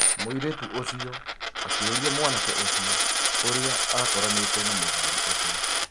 Mũiritu ũcio akĩũrĩa mwanake ũcio ũrĩá akoranĩte na mũthuri ũcio.